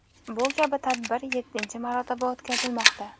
Bu kabi tadbir yettinchi marotaba o‘tkazilmoqda .